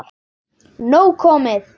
Nóg komið